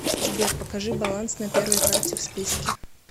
сбер покажи баланс на первой карте в списке